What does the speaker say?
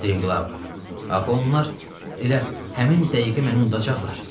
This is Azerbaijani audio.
Striqlavov, axı onlar elə həmin dəqiqə məni unudacaqlar.